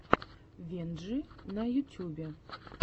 венджи на ютьюбе